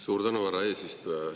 Suur tänu, härra eesistuja!